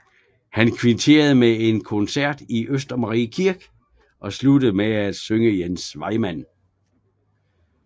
Han kvitterede med en koncert i Østermarie Kirke og sluttede med at synge Jens Vejmand